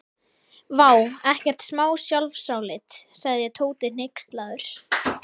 Vá, ekkert smá sjálfsálit sagði Tóti hneykslaður.